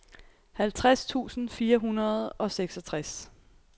halvtreds tusind fire hundrede og seksogtres